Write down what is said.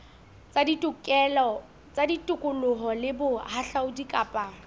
tsa tikoloho le bohahlaudi kapa